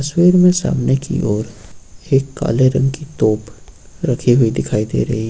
तस्वीर में सामने की ओर एक काले रंग की तोप रखी हुई दिखाई दे रही--